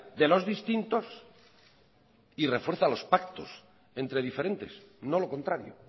de los distintos y refuerza los pactos entre diferentes no lo contrario